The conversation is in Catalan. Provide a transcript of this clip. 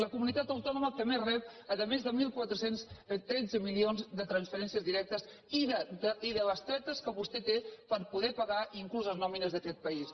la comunitat autònoma que més rep a més de catorze deu tres milions de transferències directes i de bestretes que vostè té per poder pagar inclús les nòmines d’aquest país